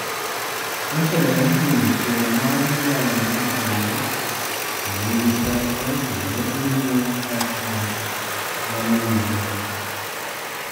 Wachore ni jochiel mar jal mothono nigi teko, kendo owinjo kaka dhano winjo.